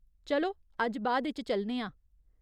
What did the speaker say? चलो, अज्ज बाद इच चलने आं।